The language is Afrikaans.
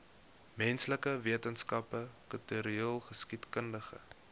menslike wetenskappe kultureelgeskiedkundige